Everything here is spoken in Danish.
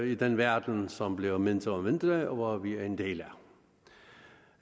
i den verden som bliver mindre og mindre og som vi er en del